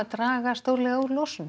draga stórlega úr losun